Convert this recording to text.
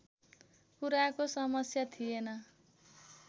कुराको समस्या थिएन